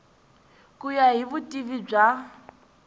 ku ya hi vutivi bya